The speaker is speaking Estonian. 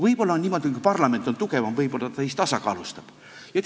Võib-olla on niimoodi, et kui parlament on tugevam, ta siis tasakaalustab seda.